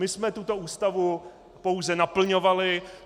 My jsme tuto Ústavu pouze naplňovali.